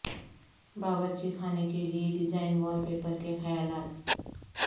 باورچی خانے کے لئے ڈیزائن وال پیپر کے خیالات